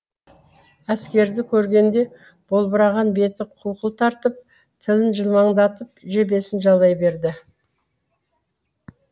әскерді көргенде болбыраған беті қуқыл тартып тілін жылмаңдатып жебесін жалай берді